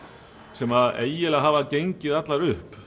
sem eiginlega hafa gengið allar upp